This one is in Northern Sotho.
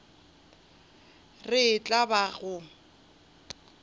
re e tla ba go